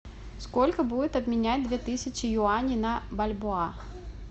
сколько будет обменять две тысячи юаней на бальбоа